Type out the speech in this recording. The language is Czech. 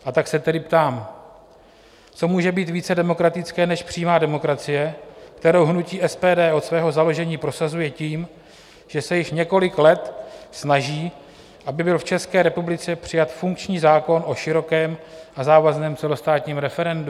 A tak se tedy ptám: co může být více demokratické než přímá demokracie, kterou hnutí SPD od svého založení prosazuje tím, že se již několik let snaží, aby byl v České republice přijat funkční zákon o širokém a závazném celostátním referendu?